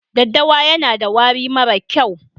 Ɗaddawa yana da wari mara kyau.